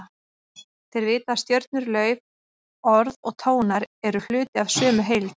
Þeir vita að stjörnur, lauf, orð og tónar eru hluti af sömu heild.